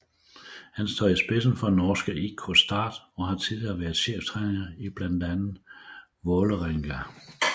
Han står i spidsen for norske IK Start og har tidligere været cheftræner i blandt andet Vålerenga